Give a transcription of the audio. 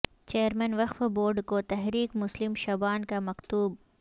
chairman وقف board کو تحریک مسلم شبان کا مکتوب